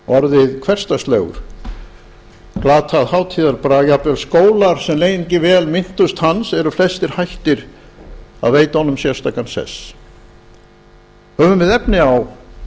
orðið hversdagslegur glatað hátíðarbrag jafnvel skólar sem lengi vel minntust hans eru flestir hættir að veita honum sérstakan sess höfum við efni á